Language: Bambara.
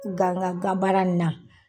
Gangangan baara na.